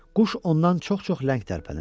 Quş ondan çox-çox ləng tərpənirdi.